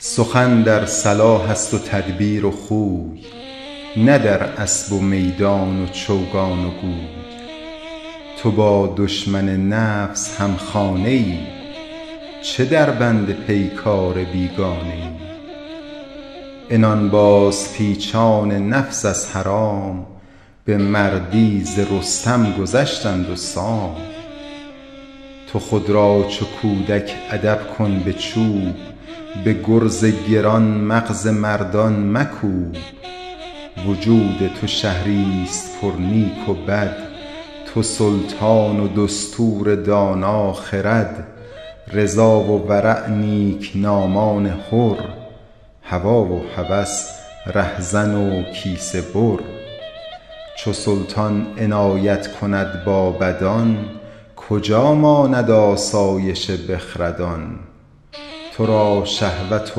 سخن در صلاح است و تدبیر و خوی نه در اسب و میدان و چوگان و گوی تو با دشمن نفس هم خانه ای چه در بند پیکار بیگانه ای عنان باز پیچان نفس از حرام به مردی ز رستم گذشتند و سام تو خود را چو کودک ادب کن به چوب به گرز گران مغز مردم مکوب وجود تو شهری است پر نیک و بد تو سلطان و دستور دانا خرد رضا و ورع نیکنامان حر هوی و هوس رهزن و کیسه بر چو سلطان عنایت کند با بدان کجا ماند آسایش بخردان تو را شهوت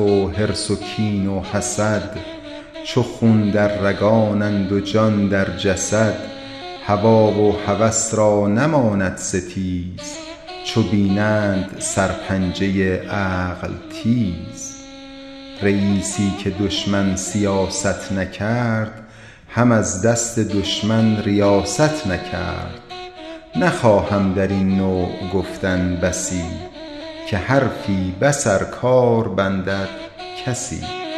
و حرص و کین و حسد چو خون در رگانند و جان در جسد هوی و هوس را نماند ستیز چو بینند سر پنجه عقل تیز رییسی که دشمن سیاست نکرد هم از دست دشمن ریاست نکرد نخواهم در این نوع گفتن بسی که حرفی بس ار کار بندد کسی